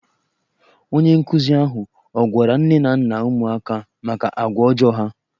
Onye nkụzi ahụ ọ gwara nne na nna ụmụaka a maka agwa ọjọọ ha?